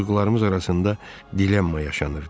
Duyğularımız arasında dilemma yaşanırdı.